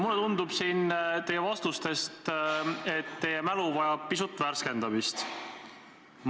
Mulle tundub siin teie vastustest, et teie mälu vajab pisut värskendamist.